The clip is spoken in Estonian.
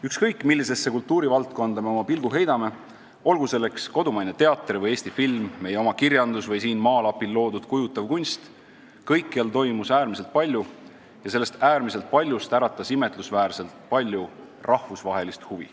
Ükskõik millisesse kultuurivaldkonda me pilku ei heida, olgu selleks kodumaine teater või Eesti film, meie oma kirjandus või siin maalapil loodud kujutav kunst, kõikjal toimus äärmiselt palju ja sellest äärmisest paljust äratas imetlusväärselt palju rahvusvahelist huvi.